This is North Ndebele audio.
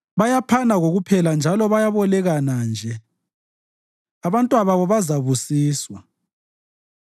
Bayaphana kokuphela njalo bayebolekana nje; abantwababo bazabusiswa.